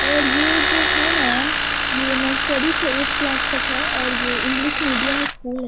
और ये जो हैं न ये नर्सरी से एइथ क्लास तक हैं और ये इंग्लिश मिडियम स्कूल है।